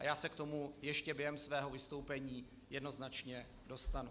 A já se k tomu ještě během svého vystoupení jednoznačně dostanu.